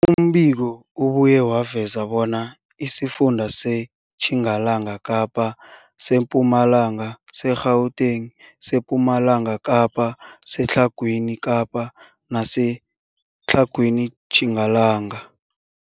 Umbiko ubuye waveza bona isifunda seTjingalanga Kapa, seMpumalanga, seGauteng, sePumalanga Kapa, seTlhagwini Kapa neseTlhagwini Tjingalanga.